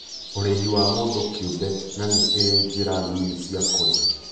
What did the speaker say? Ũrĩhi wa mũndũ kĩũmbe na nĩ ĩrĩ njĩra nini cia kũrĩha